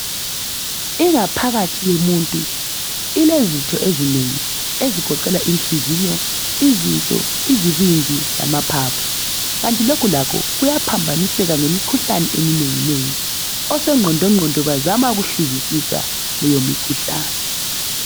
Ingaphakathi yomuntu ilezitho ezinengi ezigoqela inhliziyo, izinso, izibindi lamaphaphu kanti lokhu lakho kuyaphambaniseka ngemikhuhlane eminenginengi. Osongqondongqondo bazama ukuhluzisisa leyo mikhuhlane.